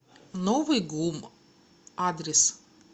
новый гум адрес